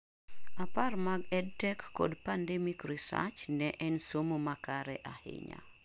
Apar mag EdTech kod pandemic research nen somo makare ahinya